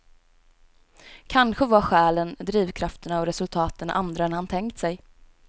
Kanske var skälen, drivkrafterna och resultaten andra än han tänkt sig.